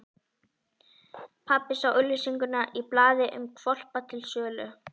Pabbi sá auglýsingu í blaði um hvolpa til sölu.